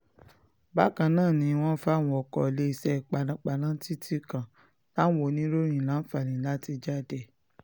bákan náà ni wọ́n fàwọn ọkọ̀ iléeṣẹ́ panápaná títí kan táwọn oníròyìn láǹfààní láti jáde